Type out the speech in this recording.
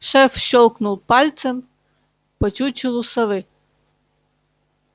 шеф щёлкнул пальцем по чучелу совы